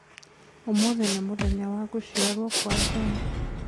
Ũmũthĩ nĩ mũthenya wa gũciarwo kwa John